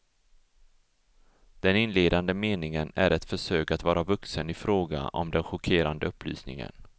Den inledande meningen är ett försök att vara vuxen i fråga om den chockerande upplysningen.